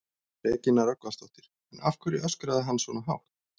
Regína Rögnvaldsdóttir: En af hverju öskraði hann svona hátt?